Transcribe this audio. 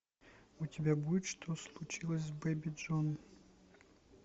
у тебя будет что случилось с бэби джейн